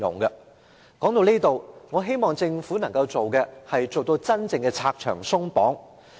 說到這裏，我希望政府能夠真正做到拆牆鬆綁。